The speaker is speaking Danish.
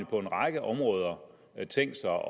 på en række områder tænkt sig